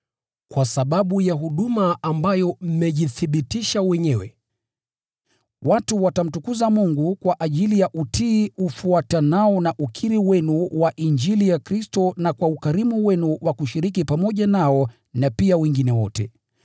Kwa sababu ya huduma ambayo mmejithibitisha wenyewe, watu watamtukuza Mungu kwa ajili ya utiifu ufuatanao na ukiri wenu wa Injili ya Kristo, na kwa ukarimu wenu wa kushiriki pamoja nao na pia wengine wote.